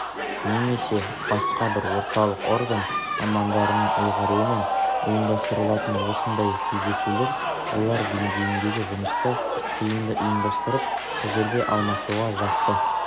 немесе басқа бір орталық орган мамандарының ұйғаруымен ұйымдастырылатын осындай кездесулер олар деңгейіндегі жұмысты тиімді ұйымдастырып тәжірибе алмасуға жақсы